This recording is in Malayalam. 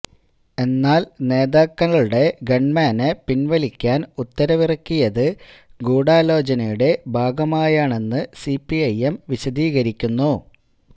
എന്നാല് നേതാക്കളുടെ ഗണ്മാനെ പിന്വലിക്കാന് ഉത്തരവിറക്കിയത് ഗൂഢാലോചനയുടെ ഭാഗമായാണെന്ന് സിപിഐഎം വിശദീകരിക്കുന്നു